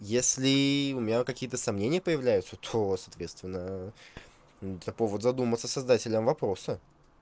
если у меня какие-то сомнения появляются то соответственно это повод задуматься создателем вопроса